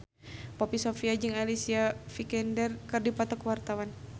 Poppy Sovia jeung Alicia Vikander keur dipoto ku wartawan